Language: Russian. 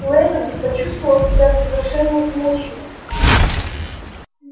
лэннинг почувствовал себя совершенно измученным